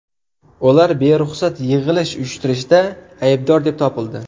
Ular beruxsat yig‘ilish uyushtirishda aybdor deb topildi.